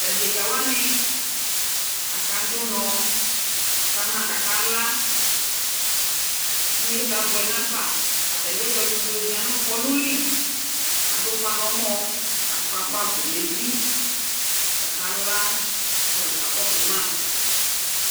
Tʋ adekǝ wanɩ, akadʋ ʋnɔ ka ma kʋ akala Kʋ inyesɛ abʋ nafa Atanɩ ewle ɛtʋ dʋ zɩaa nʋ kɔnʋ li Adʋ ʋfa nʋ ɔmɔ kʋ akɔ agbavlɛ nʋ evi kʋ akala kʋ alʋ kakɔsʋ ma